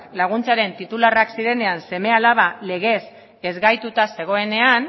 laguntzaren titularrak zirenean seme alabak legez ezgaituta zegoenean